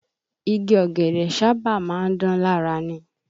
Igi ọ̀gẹ̀dẹ̀ sábà má ń dán lára ni